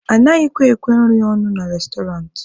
Anaghịkwa ekwe nri ọnụ na restọrantị.